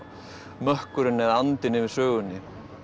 mökkurinn eða andinn yfir sögunni